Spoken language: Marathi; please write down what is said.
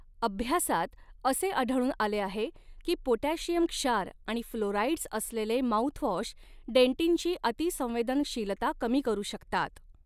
अभ्यासात असे आढळून आले आहे की पोटॅशियम क्षार आणि फ्लोराईड्स असलेले माउथवॉश डेन्टिनची अतिसंवेदनशीलता कमी करू शकतात.